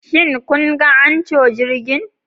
Shin kun ga Anchor jirgin?